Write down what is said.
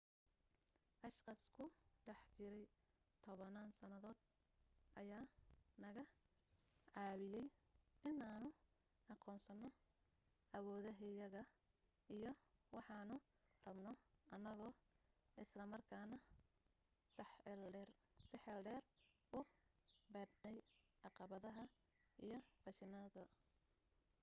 ashqaas ku dhex jiray tobanaan sannadood ayaa naga caawiyay inaanu aqoonsano awoodahayaga iyo waxaanu rabno annagoo islamarkaana six eel dheer u baadhayna caqabadaha iyo fashilitaanada